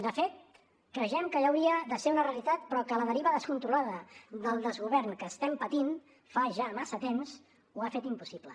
de fet creiem que ja hauria de ser una realitat però que la deriva descontrolada del desgovern que estem patint fa ja massa temps ho ha fet impossible